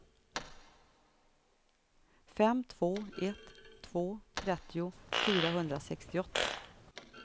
fem två ett två trettio fyrahundrasextioåtta